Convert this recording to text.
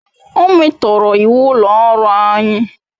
O metoro iwu ulo oru anyi